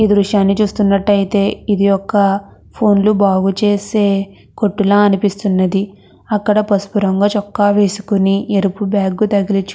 ఈ దృశ్యాన్ని చూస్తునట్టు అయతె ఇది ఒక ఫోన్ లు బాగా చేసే కొట్టు ల కనిపిస్తున్నది అక్కడ పసుపు రంగు చొక్కా వేసుకొని ఎరుపు బాగ్ తగిలించు --